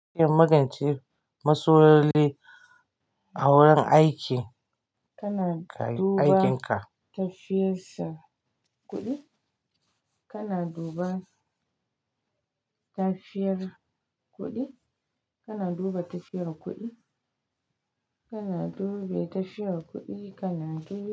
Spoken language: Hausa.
Kin magance masloli a wurin aiki, kana duba tafiyarsa kuɗi, kana duba tafiyar kuɗi, kana duba tafiyar kuɗi, kana dubi tafiyar kuɗi, kana dub.